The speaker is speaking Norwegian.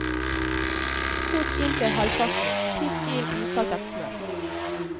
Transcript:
Kok inn til halvparten, pisk inn usaltet smør.